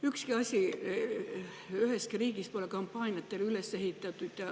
Ükski asi üheski riigis pole kampaaniatele üles ehitatud.